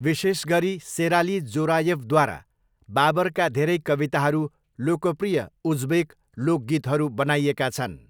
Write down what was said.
विशेष गरी सेराली जोरायेवद्वारा, बाबरका धेरै कविताहरू लोकप्रिय उज्बेक लोक गीतहरू बनाइएका छन्।